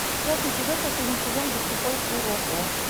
пятый эпизод последний сезон баскетбол куроко